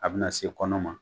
A bɛna se kɔnɔ ma,